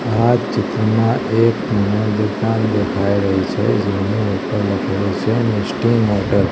આ ચિત્રમાં એક દેખાય રહી છે જેની ઉપર લખેલુ છે .